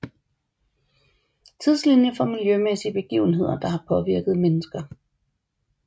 Tidslinie for miljømæssige begivenheder der har påvirket mennesker